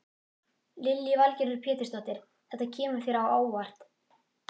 Lillý Valgerður Pétursdóttir: Þetta kemur þér á óvart?